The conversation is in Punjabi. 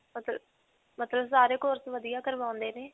ਮਤਲਬ ਸਾਰੇ course ਵਧੀਆ ਕਰਵਾਉਂਦੇ ਨੇ.